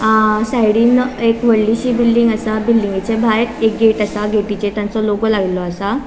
अ साइडीन एक वडलीशी बिल्डिंग असा बिल्डिंगेच्या भायर एक गेट असा गेटीचेर तांचो लोगों लायलो असा.